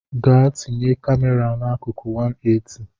Gaa tinye kamera n’akụkụ 180